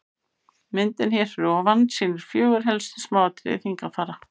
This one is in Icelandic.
myndin hér fyrir ofan sýnir fjögur helstu smáatriði fingrafara